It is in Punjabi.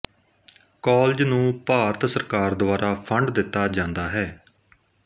ਕਾਲਜ ਨੂੰ ਭਾਰਤ ਸਰਕਾਰ ਦੁਆਰਾ ਫੰਡ ਦਿੱਤਾ ਜਾਂਦਾ ਹੈ